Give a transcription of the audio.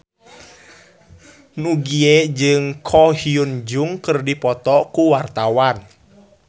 Nugie jeung Ko Hyun Jung keur dipoto ku wartawan